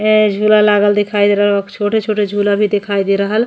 ए झूला लागल दिखाई दे रहल। छोटे छोटे झूला भी दिखाई दे रहल --